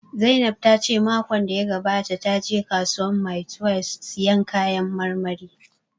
Zainab ta ce makon da ya gabata ta je kasuwar mile twelbe sayan kayan marmari